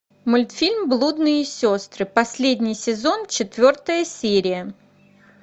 мультфильм блудные сестры последний сезон четвертая серия